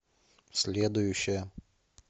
следующая